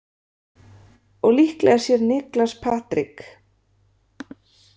Og líklega sér Niklas Patrik.